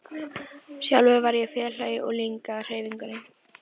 Sjálfur var ég félagi í ungliðahreyfingunni.